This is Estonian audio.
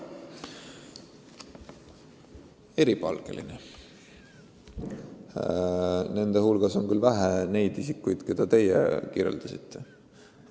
See on eripalgeline kontingent, kelle hulgas on küll vähe neid, keda teie nimetasite.